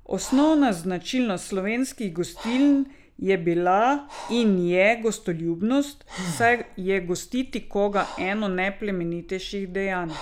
Osnovna značilnost slovenskih gostiln je bila in je gostoljubnost, saj je gostiti koga eno najplemenitejših dejanj.